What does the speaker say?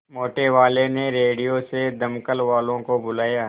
मोटेवाले ने रेडियो से दमकल वालों को बुलाया